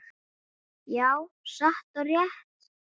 Já, satt og rétt.